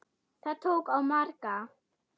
Það tók á marga.